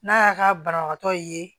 N'a y'a ka banabagatɔ ye